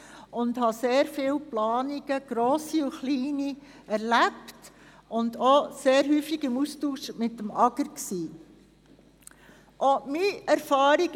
Ich habe sehr viele grosse und kleine Planungen erlebt und habe mich sehr oft im Austausch mit dem AGR befunden.